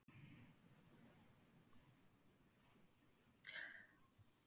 Allir leikmenn eru grófir Besti íþróttafréttamaðurinn?